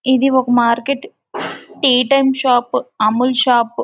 ఇది ఒక market tea time shop Amul shop --